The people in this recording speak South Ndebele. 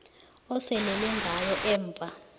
osalele ngayo emva